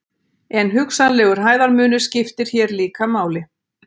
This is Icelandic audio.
En hugsanlegur hæðarmunur skiptir hér líka máli.